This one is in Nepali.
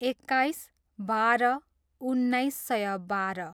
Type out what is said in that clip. एक्काइस, बाह्र, उन्नाइस सय बाह्र